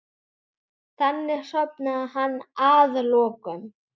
Þannig sofnaði hann að lokum.